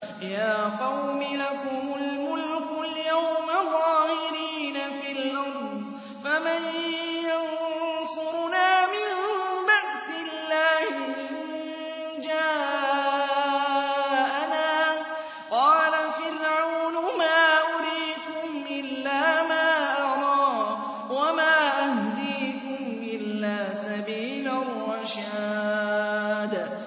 يَا قَوْمِ لَكُمُ الْمُلْكُ الْيَوْمَ ظَاهِرِينَ فِي الْأَرْضِ فَمَن يَنصُرُنَا مِن بَأْسِ اللَّهِ إِن جَاءَنَا ۚ قَالَ فِرْعَوْنُ مَا أُرِيكُمْ إِلَّا مَا أَرَىٰ وَمَا أَهْدِيكُمْ إِلَّا سَبِيلَ الرَّشَادِ